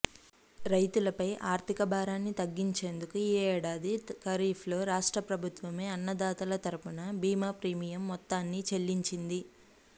రైతులపై ఆర్థిక భారాన్ని తగ్గించేందుకు ఈ ఏడాది ఖరీఫ్లో రాష్ట్ర ప్రభుత్వమే అన్నదాతల తరఫున బీమా ప్రీమియం మొత్తాన్ని చెల్లించింది